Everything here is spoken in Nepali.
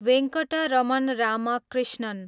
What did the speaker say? वेङ्कटरमण रामकृष्णन